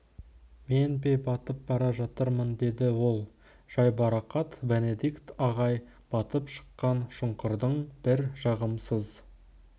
мен бе мен батып бара жатырмын деді ол жайбарақат бенедикт ағай батып шыққан шұңқырдың бір жағымсыз